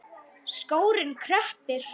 Skórinn kreppir